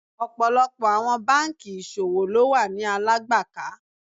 Ọ̀pọ̀lọpọ̀ àwọn bankì ìṣòwò ló wà ni Alágbàká.